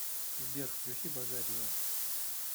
сбер включи базарьева